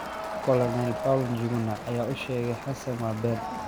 Colonel Paul Njuguna ayaa u sheegay xassan: “Waa been.